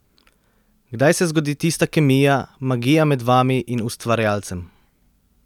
Kdaj se zgodi tista kemija, magija med vami in ustvarjalcem?